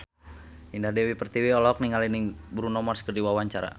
Indah Dewi Pertiwi olohok ningali Bruno Mars keur diwawancara